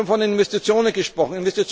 Sie haben von Investitionen gesprochen.